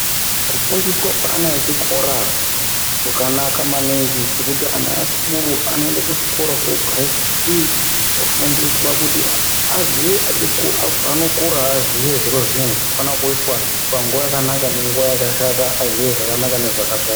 Kufundiswa kweana chikora kwakanaka maningi ngekuti ana esikuru anoenda kuchikora ogara pashi ofundiswa kuti paanokura aziye zviro zvinezvi zvinofanirwa kuita panguwa yakanaka nenguwa yakashata aziye zvakanaka nezvakashata.